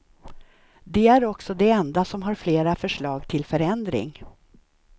De är också de enda som har flera förslag till förändring.